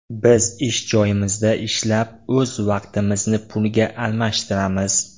Biz ish joyimizda ishlab o‘z vaqtimizni pulga almashtiramiz.